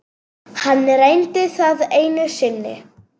Hann reyndi það einu sinni.